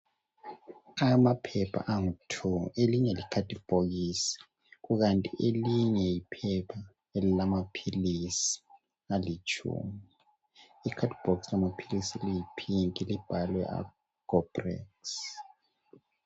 Amaphepha angu 2 elinye likhadibhokisi elinye liphepha lamaphilisi alitshumi. Ikhadibhokisi lamaphilisi liyipink libhalwe Agoprex.